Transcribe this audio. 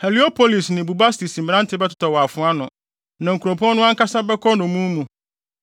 Heliopolis ne Bubastis mmerante bɛtotɔ wɔ afoa ano, na nkuropɔn no ankasa bɛkɔ nnommum mu.